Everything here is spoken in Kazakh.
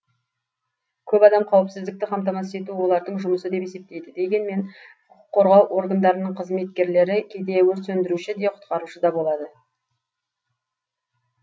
көп адам қауіпсіздікті қамтамасыз ету олардың жұмысы деп есептейді дегенмен құқық қорғау органдарының қызметкерлері кейде өрт сөндіруші де құтқарушы да болады